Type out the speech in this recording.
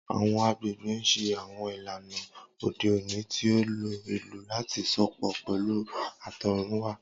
Awọn agbegbe n ṣe awọn ilana ode oni ti o lo ilu lati sopọ pẹlu atọrunwa.